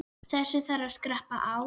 Þessu þarf að skerpa á.